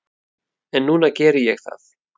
En núna geri ég það.